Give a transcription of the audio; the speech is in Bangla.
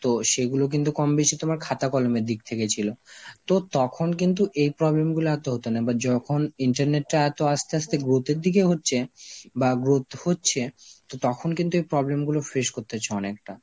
তো সেগুলো কিন্তু কম বেশি তোমার খাতা কলমের দিক থেকে ছিল, তো তখন কিন্তু এই problem গুলো এত হত না, but যখন internet টা এত আস্তে আস্তে growth এর দিকে হচ্ছে বা growth হচ্ছে, তো তখন কিন্তু এই problem গুলো face করতে হচ্ছে অনেকটা.